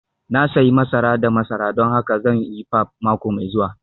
Na sayi masara da masara don haka zan yi pap mako mai zuwa